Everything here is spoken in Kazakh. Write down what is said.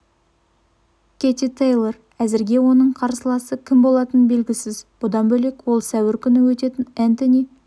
кэти тэйлор әзірге оның қарсыласы кім болатыны белгісіз бұдан бөлек ол сәуір күні өтетін энтони